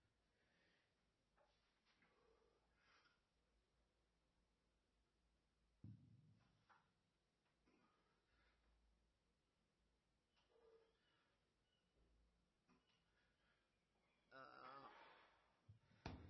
Minne biiffaho, qishiratte, budeenna wodhatte hasiisanno uduunichi danu danunkunni duunnamme noohu leelanno yaatte. iso agare noohunna hidhasira marinnohu manoottu leelittanno